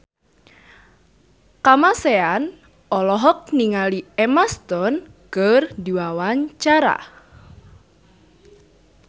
Kamasean olohok ningali Emma Stone keur diwawancara